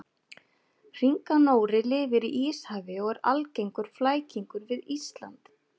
hringanóri lifir í íshafi og er algengur flækingur við ísland